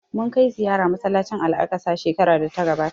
Mun kai ziyara masallacin Al'aqsa shekarar da ta gabata